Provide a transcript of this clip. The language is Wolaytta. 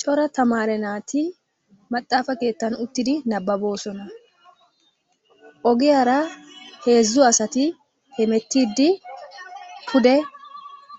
Cora tamaare naati maxaafa keettan uttidi nabbaboosona. Ogoyara heezzu asati hemettiiddi pude